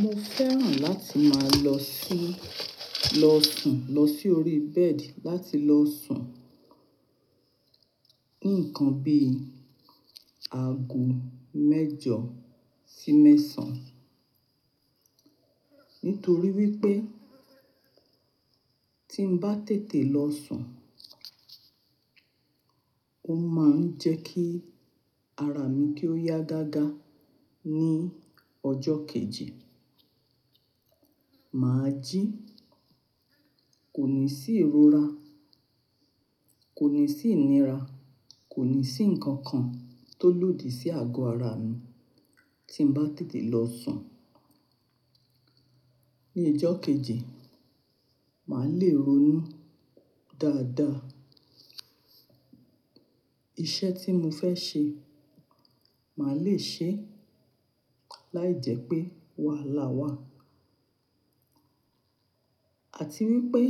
Mo fẹ́ràn láti máa lọ sí, lọ sùn, lọ sí orí bẹ́ẹ̀dì láti lọ sùn, ní nǹkan bí aago mẹ́jọ sí mẹ́sàn-án. Nítorí wípé tí ń bá tètè lọ sùn, ó máa ń jẹ kí ara mi kí ó yá gáagáa ní ọjọ́ kejì. Mà á jí, kò ní sí ìrora, kò ní sí ìnira, kò ní sí nǹkan kan tó lodi sí ago ara mi tí ń bá tètè lọ sùn. Ni ijọ́ kejì, mà á le ronú dáadáa. Iṣẹ́ tí mo fẹ́ ṣe, mà á le è ṣe e láìjẹ́ pé wahalà wá. Àti wípé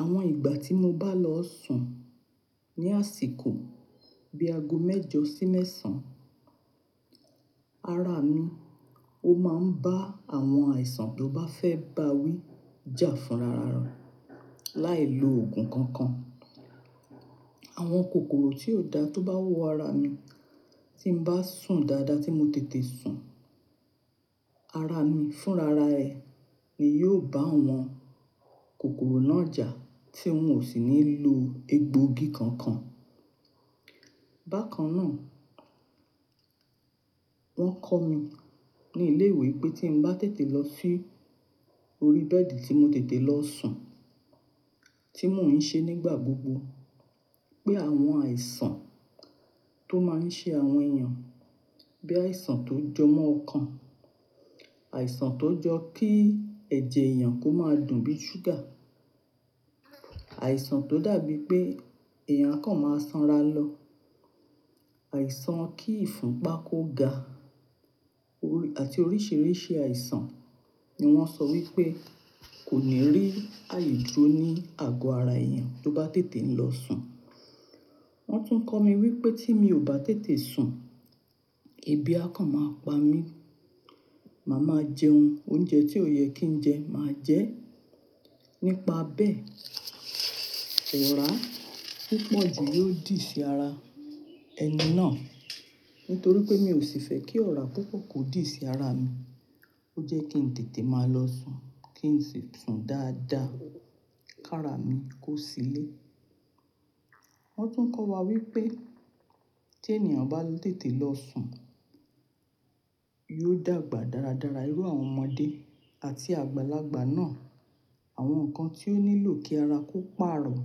àwọn ìgbà tí mo bá lọ sùn ní àsìkò bí i ago mẹ́jọ sí mẹ́sàn-án, ara mi ó máa ń bá àwọn àìsàn tó bá fẹ́ bá wí jà fún ra ra, láì lo òògùn kankan. Àwọn kòkòrò tí ó da tó bá wọ ara mi tí ń bá sùn dáadáa, tí mo tètè sùn, ara mi fún ra ra rẹ̀ ni yóò bá àwọn kòkòrò náà jà tí ń ò sì ní lo egbòogi kankan. Bákan náà, wọ́n kọ́ mi ní ilé ìwé pé tí ń bá tètè lọ sí orí bẹ́ẹ̀dì tí mo tètè lọ sùn, tí mò ń ṣe nígbà gbogbo pé àwọn àìsàn tó máa ń ṣe àwọn èèyàn bí àìsàn tó jọ mọ́ ọkàn, àìsàn tó jọ kí ẹ̀jẹ̀ èèyàn kó máa dùn bíi ṣúgà, àìsàn tó dàbí pé èèyàn kan máa sanra lọ, àìsàn kí ìfúnpa kó ga, òr-- àti oríṣìíríṣìí àìsàn ni wọ́n sọ wípé kò ní rí àye dúró ní ago ara èèyàn tó bá ń tètè ń lọ sùn. Wọ́n tún kọ́ mi wípé tí mi ò bá tètè sùn, ebi akàn máa pa mí. Màá máa jẹ oun-- oúnjẹ tí ò yẹ kí ń jẹ máa jẹ ẹ́. Nípa bẹ́ẹ̀, ọ̀rà púpọ̀ jù yóò dì sí ara ẹni náà. Nítorí pé mi ò sì fẹ́ kí ọ̀rà púpọ̀ kó dì sí ara mi, ó jẹ́ kí ń tètè máa lọ sùn, kí n sì sùn dáadáa kí ara mi kó sílé. Wọ́n tún kọ́ wa wípé tí ènìyàn bá tètè lọ sùn, yóò dàgbà dáradára. Irú àwọn ọmọdé àti àgbàlagbà náà, àwọn nǹkan tí ó nílò kí ara kó pàrọ̀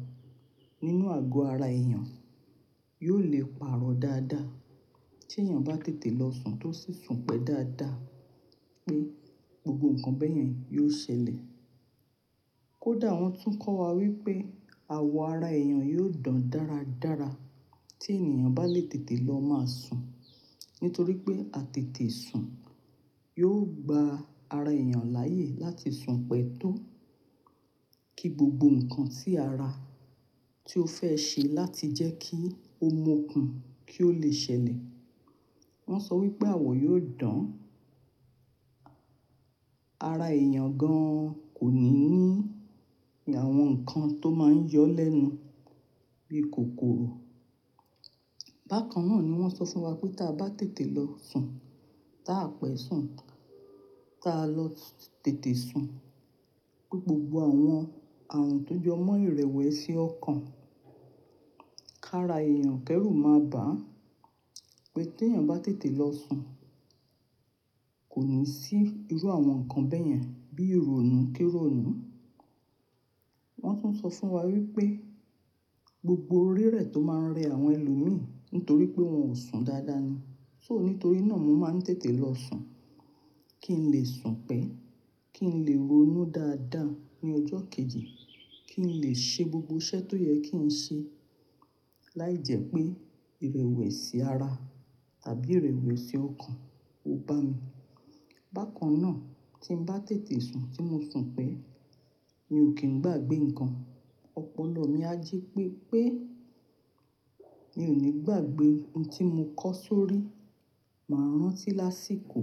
nínú ago ara èèyàn yóò le pàrọ̀ dáadáa. Tí èèyàn bá tètè lọ sùn tó sì sùn pẹ́ dáadáa pé gbogbo nǹkan bẹ́ẹ̀ yẹn yóò ṣẹlẹ̀. Kódà wọ́n tún kọ́ wa wípé àwọ̀ ara èèyàn yóò dùn dáradára tí ènìyàn bá lè tètè lọ máa sùn. Nítorí pé àtètè sùn yóò gba ara èèyàn láàyè láti sùn pẹ́ tó ki gbogbo nǹkan tí ara tí ó fẹ́ ṣe láti jẹ́ kí ó mu ó kùn kí ó lè ṣẹlẹ̀. Wọ́n sọ wípé àwọ̀ yóò dùn, ara èèyàn gan kò ní ní àwọn nǹkan tó máa ń yọ́ lẹ́nu bíi kòkòrò. Bákan náà ni wọ́n sọ fún wa pé tí a bá tètè lọ sùn, ta a pẹ́ sùn, ta a lọ tètè sùn pé gbogbo àwọn ààrùn tó jọ mọ́ ìrẹ̀wẹ̀sì ọkàn kára èèyàn kérù máa bà. Pé tí èèyàn bá tètè lọ sùn, kò ní sí irú àwọn nǹkan bẹ́ẹ̀ yẹn bí ìrònú, kirònú. Wọ́n tún sọ fún wa wípé gbogbo rí rẹ̀ tó máa ń rẹ àwọn ẹlòmí nítorí pé wọn ò sùn dáadáa ni. So nítorí náà mo máa ń tètè lọ sùn kí n lè sùn pẹ́, kí n lè ronú dáadáa ní ọjọ́ kejì, kí n lè ṣe gbogbo iṣẹ́ tó yẹ kí ń ṣe láìjẹ́ pé ìrẹ̀wẹ̀sì ara tàbí ìrẹ̀wẹ̀sì ọkàn ó bá mi. Bákan náà tí ń bá tètè sùn tí mo sùn pẹ́, mi ò kí ń gbàgbé nǹkan. Ọpọlọ mi á jí pé pé mi ò ní gbàgbé ohun tí mo kọ́ sórí, mà á rántí lásìkò.